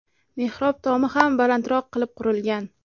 Mehrob tomi ham balandroq qilib qurilgan.